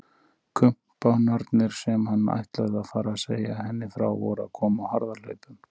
Kumpánarnir sem hann ætlaði að fara að segja henni frá voru að koma á harðahlaupum!